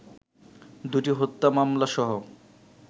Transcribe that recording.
দুটি হত্যা মামলাসহ